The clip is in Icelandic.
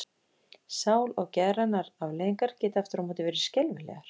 Sál- og geðrænar afleiðingar geta aftur á móti verið skelfilegar.